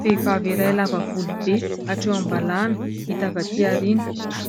Vehivavy iray lava volo be hatreo am-balahana hita avy aty aoriana.